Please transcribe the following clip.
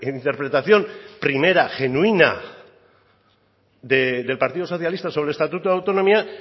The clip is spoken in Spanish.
interpretación primera genuina del partido socialista sobre el estatuto de autonomía